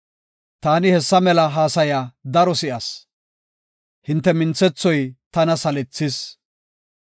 “Taani hessa mela haasaya daro si7as; hinte minthethoy tana salethis.